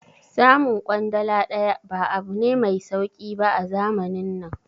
Samun kwandala daya ba abu ne mai sauki ba a zamanin nan